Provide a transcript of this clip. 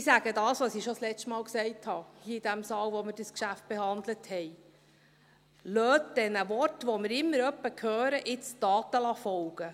Ich sage das, was ich schon das letzte Mal sagte hier in diesem Saal, als wir dieses Geschäft behandelten: Lassen Sie den Worten, die wir immer mal wieder hören, jetzt Taten folgen.